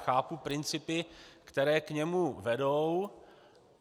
Chápu principy, které k němu vedou.